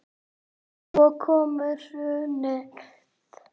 Svo kom hrunið.